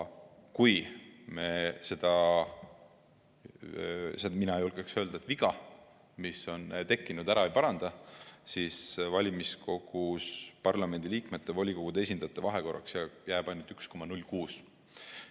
Kui me seda – mina julgeksin öelda – viga, mis on tekkinud, ära ei paranda, siis jääb valimiskogus parlamendiliikmete ja volikogude esindajate vahekorraks ainult 1,06 : 1.